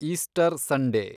Easter Sunday